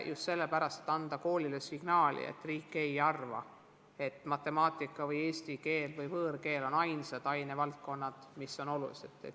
Just sellepärast, et anda koolile signaal, et riik ei arva, nagu oleks matemaatika või eesti keel või võõrkeel ainsad ainevaldkonnad, mis on olulised.